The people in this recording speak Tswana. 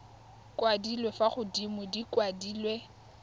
kwadilwe fa godimo di kwadilwe